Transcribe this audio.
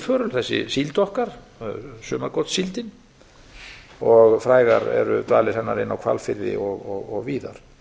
víðförul þessi síld okkar sumargotssíldin og frægar eru dvalir hennar inni á hvalfirði ég víðar